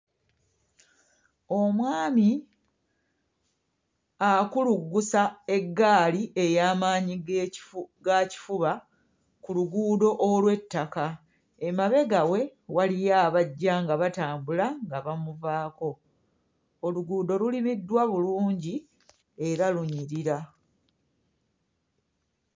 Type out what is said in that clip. Omwami akuluggusa eggaali ey'amaanyi g'ekifu ga kifuba ku luguudo olw'ettaka emabega we waliyo abajja nga batambula nga bamuvaako oluguudo lulimiddwa bulungi era lunyirira.